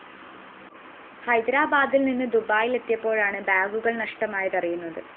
ഹൈദരാബാദില്‍ നിന്ന് ദുബായിലെത്തിയപ്പോഴാണ് ബാഗുകള്‍ നഷ്ടമായത് അറിയുന്നത്